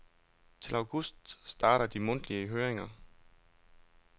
Til august starter de mundtlige høringer.